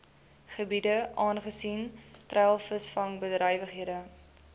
gebiede aangesien treilvisvangbedrywighede